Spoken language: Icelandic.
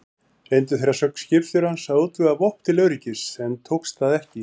Reyndu þeir að sögn skipstjórans að útvega vopn til öryggis, en tókst það ekki.